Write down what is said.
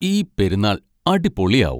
ഈ പെരുന്നാൾ അടിപൊളിയാവും.